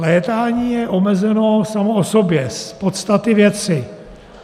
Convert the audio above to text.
Létání je omezeno samo o sobě z podstaty věci.